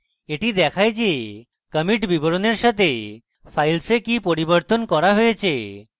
এটি দেখায় যে commit বিবরণের সাথে files কি পরিবর্তন করা হয়েছে